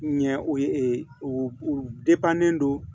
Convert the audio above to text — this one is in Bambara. Ɲɛ o ye u don